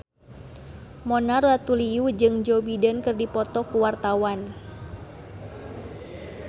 Mona Ratuliu jeung Joe Biden keur dipoto ku wartawan